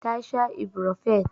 Ta sha ibrofen.